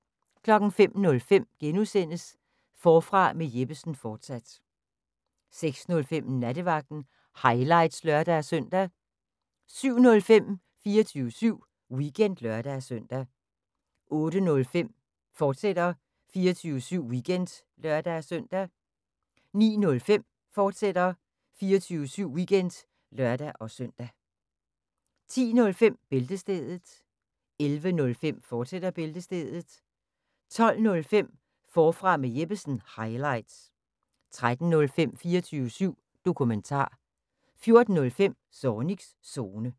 05:05: Forfra med Jeppesen fortsat (G) 06:05: Nattevagten – highlights (lør-søn) 07:05: 24syv Weekend (lør-søn) 08:05: 24syv Weekend, fortsat (lør-søn) 09:05: 24syv Weekend, fortsat (lør-søn) 10:05: Bæltestedet 11:05: Bæltestedet, fortsat 12:05: Forfra med Jeppesen – highlights 13:05: 24syv Dokumentar 14:05: Zornigs Zone